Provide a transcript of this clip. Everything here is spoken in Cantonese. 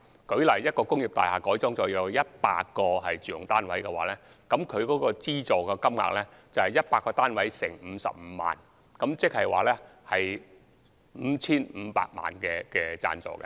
舉例來說，如果一幢工廈改建後有100個住用單位，其資助金額便等於100個單位乘以55萬元，即 5,500 萬元的資助。